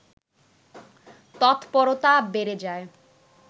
তৎপরতা বেড়ে যায়